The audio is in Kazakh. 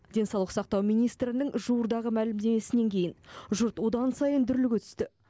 денсаулық сақтау министрінің жуырдағы мәлімдемесінен кейін жұрт одан сайын дүрліге түсті